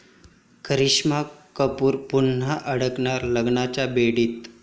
करिश्मा कपूर पुन्हा अडकणार लग्नाच्या बेडीत